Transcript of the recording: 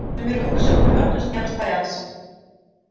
но мир вокруг уже мерк тускнел растворялся